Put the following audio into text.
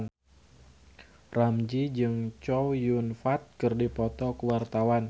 Ramzy jeung Chow Yun Fat keur dipoto ku wartawan